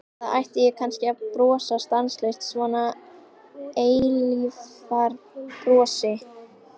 Eða ætti ég kannski að brosa stanslaust, svona eilífðarbrosi?